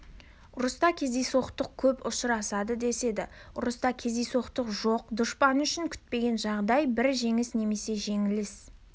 ұрыста кездейсоқтық көп ұшырасады деседі ұрыста кездейсоқтық жоқ дұшпан үшін күтпеген жағдай бар жеңіс немесе жеңіліс